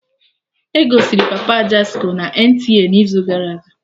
Egosiri Papa Ajasco na NTA n'izu gara aga